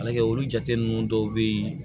Ala kɛ olu jate ninnu dɔw bɛ ye